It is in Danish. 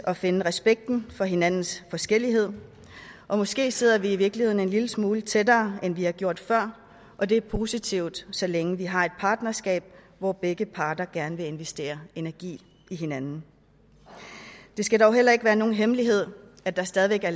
at finde respekten for hinandens forskellighed og måske sidder vi i virkeligheden en lille smule tættere end vi har gjort før og det er positivt så længe vi har et partnerskab hvor begge parter gerne vil investere energi i hinanden det skal dog heller ikke være nogen hemmelighed at det stadig væk er